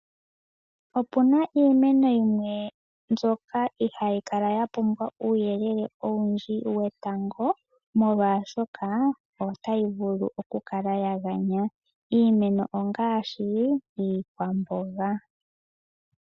Opuna iimeno yimwe mbyoka ihaayi kala ya pumbwa uuyelele owundji wetango, molwaashoka otayi vulu oku kala ya ganya. Iimeno ongaashi iikwamboga.